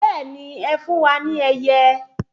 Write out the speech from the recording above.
Bẹẹni ẹ fún wa ní ẹyẹ